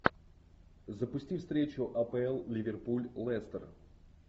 запусти встречу апл ливерпуль лестер